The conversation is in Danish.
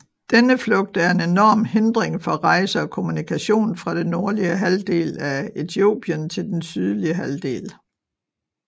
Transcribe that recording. Denne slugt er en enorm hindring for rejse og kommunikation fra det nordlige halvdel af Etiopien til den sydlige halvdel